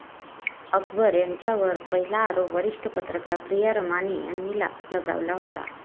अकबर यांच्यावर पहिला आरोप वरिष्ठ पत्रकार प्रिया रमानी यांनी लगावला होता.